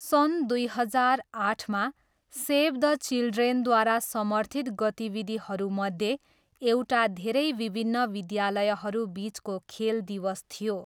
सन् दुई हजार आठमा, सेभ द चिल्ड्रेनद्वारा समर्थित गतिविधिहरूमध्ये एउटा धेरै विभिन्न विद्यालयहरू बिचको खेल दिवस थियो।